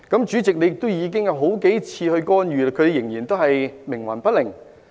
主席，你已經干預了數次，但他們仍然冥頑不靈。